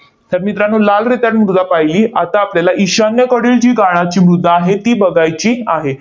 तर मित्रांनो, लाल रेताड मृदा पाहिली. आता आपल्याला ईशान्येकडील जी गाळाची मृदा आहे, ती बघायची आहे.